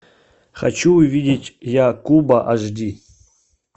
хочу увидеть я куба аш ди